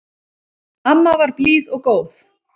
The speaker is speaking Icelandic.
Amma var blíð og góð.